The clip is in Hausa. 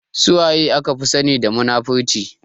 Suwaye aka fi sani da munafurci?